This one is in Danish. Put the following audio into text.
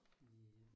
Ja